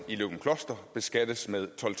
i løgumkloster beskattes med tolv